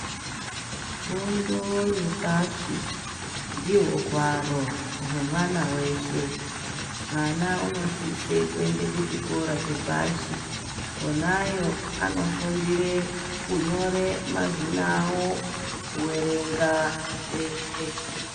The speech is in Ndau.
Fundo yepashi ndihwo hwaro hwemwana weshe. Mwana unosise kuende kuchikora chepashi. Konayo anofundire kunyore mazina avo, kuerenga, zveshe.